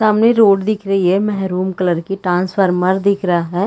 सामने रोड दिख रही है महरून कलर की ट्रांसफार्मर दिख रहा है।